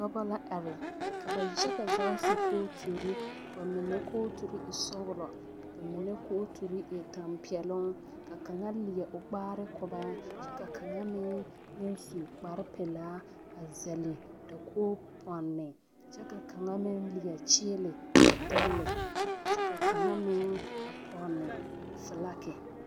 Dɔba la are ka ba yaga zie zaa su kooturi ba mine kootusɔglɔ ba mine kooturi e tɛmpɛloŋ ka kaŋa leɛ o kpaare ko ba kyɛ ka kaŋa meŋ naŋ su kparepelaa a zɛle dakogi pɔne kyɛ ka kaŋa meŋ leɛ kyeele a dɛlle kyɛ ka kaŋa meŋ a pɔnne filagi.